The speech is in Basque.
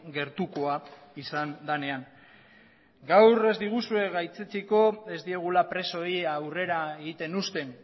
gertukoa izan denean gaur ez diguzue gaitzetsiko ez diegula presoei aurrera egiten uzten